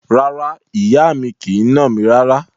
Rárá, ìyá mi kì í nà mí rárá.